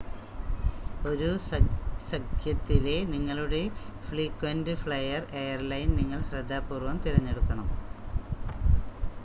ഒരു സഖ്യത്തിലെ നിങ്ങളുടെ ഫ്രീക്വൻ്റ് ഫ്ലയർ എയർലൈൻ നിങ്ങൾ ശ്രദ്ധാപൂർവ്വം തിരഞ്ഞെടുക്കണം